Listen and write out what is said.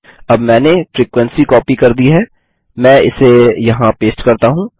अब मैंने frequency copy कर दी है मैं इसे यहाँ पेस्ट करता हूँ